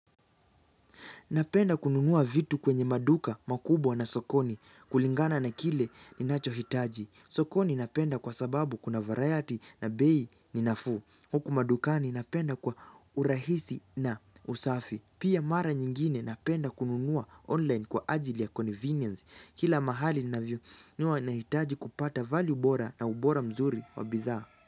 Napenda kununua vitu kwenye maduka makubwa na sokoni kulingana na kile ninachohitaji. Sokoni napenda kwa sababu kuna variety na bei ni nafuu. Huku madukani napenda kwa urahisi na usafi. Pia mara nyingine napenda kununua online kwa ajili ya convenience. Kila mahali navinunua nahitaji kupata value bora na ubora mzuri wa bidhaa.